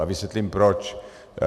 A vysvětlím proč.